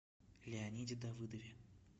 леониде давыдове